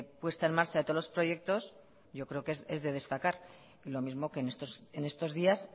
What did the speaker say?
puesta en marcha de todos los proyectos yo creo que es de destacar y lo mismo que en estos días